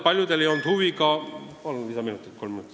Palun kolm lisaminutit!